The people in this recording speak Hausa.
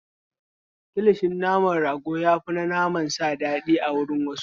Kilishin naman rago ya fi na naman sa daɗi a wurin wasu.